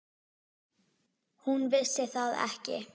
Hún vissi það ekki.